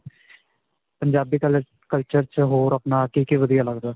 Punjabi culture ਵਿੱਚ ਹੋਰ ਆਪਣਾ ਕੀ-ਕੀ ਵਧੀਆ ਲੱਗਦਾ?